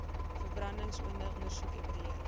verbrandingsoonde ondersoek evalueer